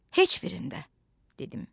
Heç birində, dedim.